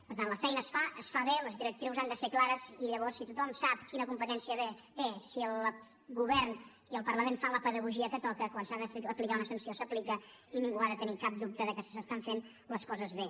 per tant la feina es fa es fa bé les directrius han de ser clares i llavors si tothom sap quina competència té si el govern i el parlament fan la pedagogia que toca quan s’ha d’aplicar una sanció s’aplica i ningú ha de tenir cap dubte que s’estan fent les coses bé